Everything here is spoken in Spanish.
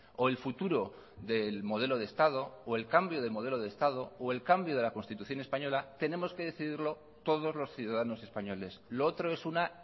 o el futuro del modelo de estado o el cambio de modelo de estado o el cambio de la constitución española tenemos que decidirlo todos los ciudadanos españoles lo otro es una